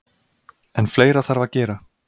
En fleira þarf að gera.